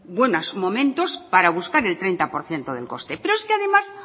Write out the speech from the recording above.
buenos momentos para buscar el treinta por ciento del coste pero es que además